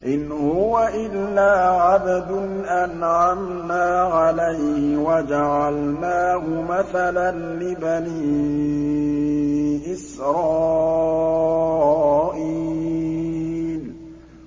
إِنْ هُوَ إِلَّا عَبْدٌ أَنْعَمْنَا عَلَيْهِ وَجَعَلْنَاهُ مَثَلًا لِّبَنِي إِسْرَائِيلَ